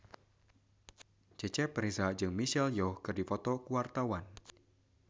Cecep Reza jeung Michelle Yeoh keur dipoto ku wartawan